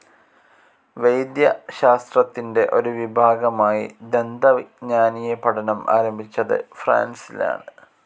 വൈദ്യശാസ്ത്രത്തിന്റെ ഒരു വിഭാഗമായി ദന്തവിജ്ഞാനീയ പഠനം ആരംഭിച്ചത് ഫ്രാൻസിലാണ്.